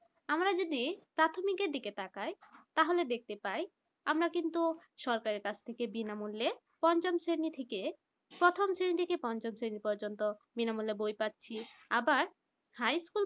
আমারা যদি প্রাথমিকের দিকে তাকায় তাহলে দেখতে পায় আমরা কিন্ত সরকারের থেকে বিনামূল্যে পঞ্চম শ্রেণী থেকে প্রথম শ্রেণী থেকে পঞ্চম শ্রেণি পর্যন্ত বিনামূল্যে বই পাচ্ছি আবার high school